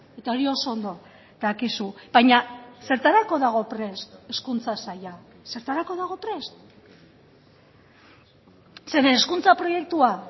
eta hori oso ondo dakizu baina zertarako dago prest hezkuntza saila zertarako dago prest zeren hezkuntza proiektua